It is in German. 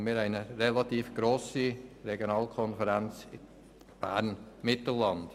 Und wir haben eine relativ grosse Regionalkonferenz: Bern-Mittelland.